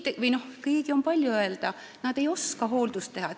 Nad ei ole koolitatud, nad ei oska hooldada.